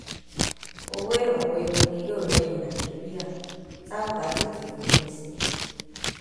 owó ìrànwọ epo ni yóò rẹyìn nàìjíríà tá ò bá tètè fòpin sí i